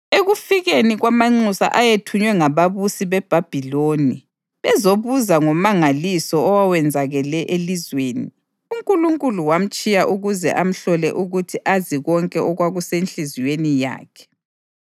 Ekufikeni kwamanxusa ayethunywe ngababusi beBhabhiloni bezobuza ngomangaliso owawenzakele elizweni, uNkulunkulu wamtshiya ukuze amhlole ukuthi azi konke okwakusenhliziyweni yakhe.